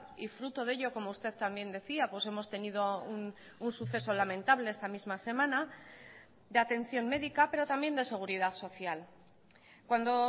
y fruto de ello como usted también decía hemos tenido un suceso lamentable esta misma semana de atención médica pero también de seguridad social cuando